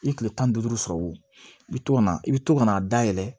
I ye kile tan ni duuru sɔrɔ wo i bi to ka na i bi to ka na a dayɛlɛ